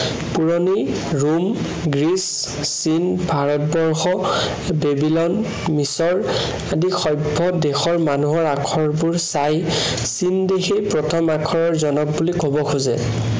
পুৰণি Rome, Greece, চীন, Bharatvarsha, Babylon, মিচৰ আদি সভ্য দেশৰ আখৰবোৰ চাই, চীন দেশেই প্ৰথম আখৰৰ জনক বুলি কব খোজে।